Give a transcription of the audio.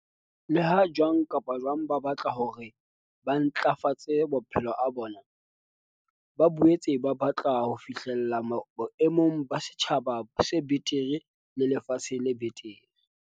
Leha jwang kapa jwang ba batla hore ba ntlafatse maphelo a bona, ba boetse ba batla ho fi hlella boemong ba setjhaba se betere le lefatshe le betere.